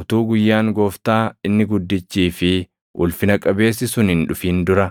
Utuu guyyaan Gooftaa inni guddichii fi // ulfina qabeessi sun hin dhufin dura,